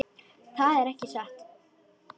Það er ekki satt.